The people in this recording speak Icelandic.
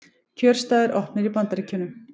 Kjörstaðir opnir í Bandaríkjunum